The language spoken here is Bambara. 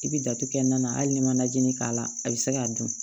I bɛ datugu kɛ nan hali n'i ma najinin k'a la a bɛ se k'a dun